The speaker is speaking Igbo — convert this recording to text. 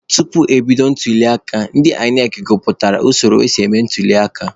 Tupu ebido ntuliaka, ndị INEC gụpụtara usoro esi eme ntuliaka.